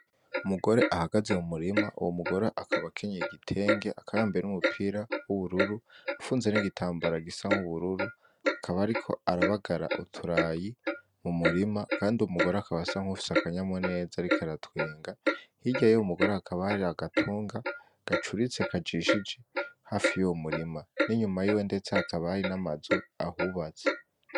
Umugore ahagaze mu murima uwo mugore akabakenye igitenke akabambire n'umupira w'ubururu afunze n'igitambara gisa nk'ubururu akaba ari ko arabagara uturayi mu murima, kandi umugore akabasa nk'ufise akanyamu neza riko aratwenga hirya yo umugore akabari agatunga gacuritse kajishijeha fi yuwu murima n'inyuma yiwe ndecoakabari n'amazu ahubatse.